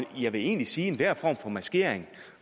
jeg vil egentlig sige at enhver form for maskering